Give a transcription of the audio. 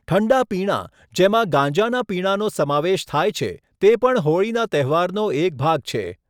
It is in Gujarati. ઠંડા પીણાં, જેમાં ગાંજાના પીણાંનો સમાવેશ થાય છે, તે પણ હોળીના તહેવારનો એક ભાગ છે.